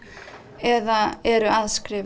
eða eru að skrifa